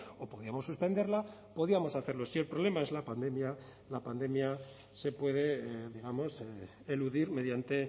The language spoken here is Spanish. o podíamos suspenderla podíamos hacerlo si el problema es la pandemia la pandemia se puede digamos eludir mediante